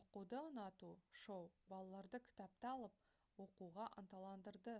оқуды ұнату — [шоу] балаларды кітапты алып оқуға ынталандырды»